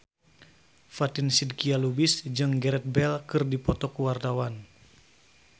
Fatin Shidqia Lubis jeung Gareth Bale keur dipoto ku wartawan